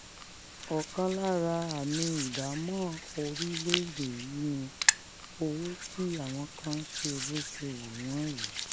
ọ̀kan lára àmì ìdámọ̀ orílẹ̀-èdè yìí ni owó tí àwọn kan ń ṣe bó ṣe wù wọ́n yìí